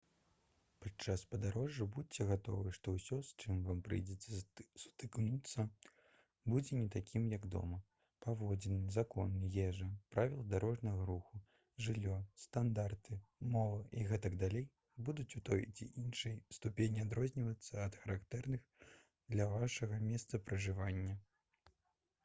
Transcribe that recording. падчас падарожжа будзьце гатовы што ўсё с чым вам прыйдзецца сутыкнуцца будзе не такім як дома паводзіны законы ежа правілы дарожнага руху жыллё стандарты мова і г.д. будуць у той ці іншай ступені адрознівацца ад характэрных для вашага месца пражывання